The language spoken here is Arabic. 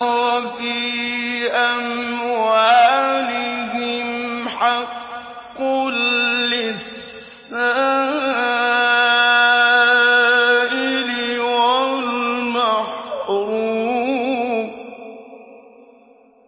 وَفِي أَمْوَالِهِمْ حَقٌّ لِّلسَّائِلِ وَالْمَحْرُومِ